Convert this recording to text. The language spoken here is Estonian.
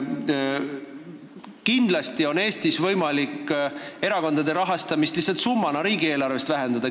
Kindlasti on Eestis võimalik erakondade rahastamist lihtsalt summana riigieelarvest vähendada.